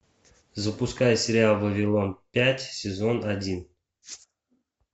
запускай сериал вавилон пять сезон один